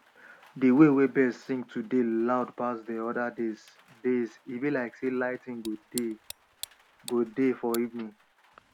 de wey birds sing today loud pass other days days e be like sey lighting go dey go dey for evening